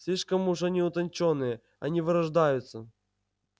слишком уж они утончённые они вырождаются